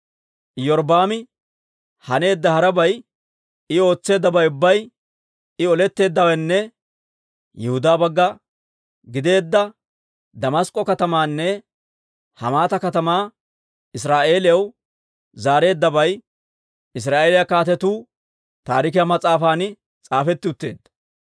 Iyorbbaami haneedda harabay, I ootseeddabay ubbay, I oletteeddawenne Yihudaa bagga gideedda Damask'k'o katamaanne Hamaata katamaa Israa'eeliyaw zaareeddabay Israa'eeliyaa Kaatetuu Taarikiyaa mas'aafan s'aafetti utteedda.